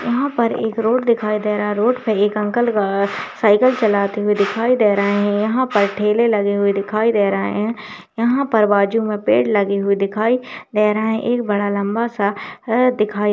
यहाँ पर एक रोड दिखाई दे रहा है रोड पर एक अंकल अ-साइकिल चलाते हुए दिखाई दे रहे हैं यहाँ पर ठेले लगे हुए दिखाई दे रहे हैं यहाँ पर बाजू में पेड़ लगे हुए दिखाई दे रहे हैं एक बड़ा लम्बा सा अ दिखाई --